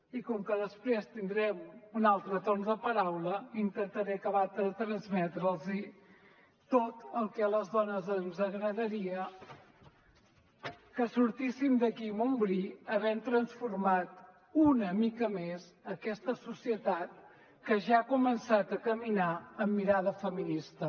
i com que després tindrem un altre torn de paraula intentaré acabar de transmetre’ls tot el que a les dones ens agradaria que sortíssim d’aquí amb un bri havent transformat una mica més aquesta societat que ja ha començat a caminar amb mirada feminista